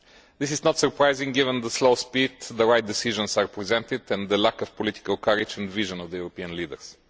This is not surprising, given the slow speed with which the right decisions are presented and the lack of political courage and vision of the European leaders.